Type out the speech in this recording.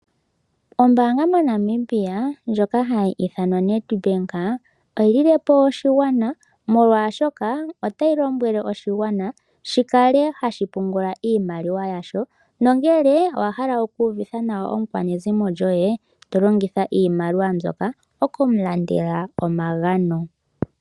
Ombaanga moNamibia ndjoka hayi ithanwa Nedbank oyili le po oshigwana molwashoka, otayi lombwele oshigwana shi kale hashi pungula iimaliwa yasho. No ngele owa hala oku uvitha nawa omukwanezimo goye, to longitha iimaliwa mbyoka oku mu landele omagano.